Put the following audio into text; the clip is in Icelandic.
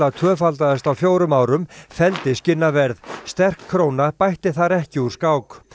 tvöfaldaðist á fjórum árum felldi sterk króna bætti þar ekki úr skák